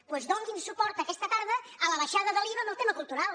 doncs donin suport aquesta tarda a l’abaixada de l’iva en el tema cultural